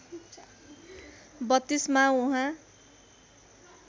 ०३२ मा उहाँ